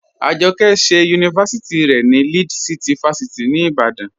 Ajọkẹ ṣẹ yunifásíti rẹ ni Lead City fásíti ni Ìbàdàn.